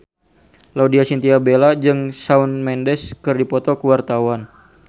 Laudya Chintya Bella jeung Shawn Mendes keur dipoto ku wartawan